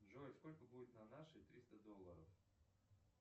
джой сколько будет на наши триста долларов